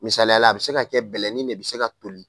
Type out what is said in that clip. Misalayala a bɛ se ka kɛ bɛnlɛnni de bɛ se ka toli